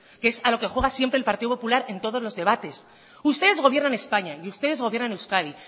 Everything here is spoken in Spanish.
que es a lo que juega siempre el partido popular en todos los debates ustedes gobiernan españa y ustedes gobiernan euskadi